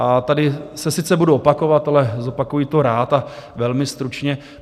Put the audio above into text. A tady se sice budu opakovat, ale zopakuji to rád a velmi stručně.